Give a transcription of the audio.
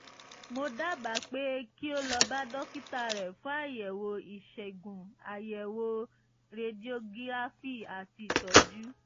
mo dábàá pé kí o lọ bá dókítà rẹ fún àyẹ̀wò ìṣègùn àyẹ̀wò rediogíráfì àti ìtọ́jú